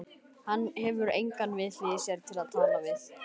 Hann hefur engan við hlið sér til að tala við.